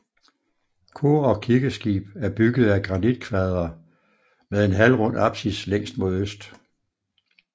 Kor og kirkeskib er bygget af granitkvadre med en halvrund apsis længst mod øst